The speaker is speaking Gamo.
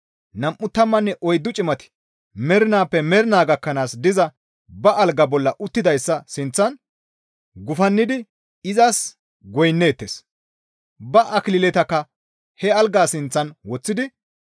nam7u tammanne oyddu cimati mernaappe mernaa gakkanaas diza ba algaa bolla uttidayssa sinththan gufannidi izas goynneettes; ba akililetakka he algaza sinththan woththidi,